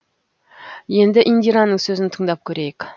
енді индираның сөзін тыңдап көрейік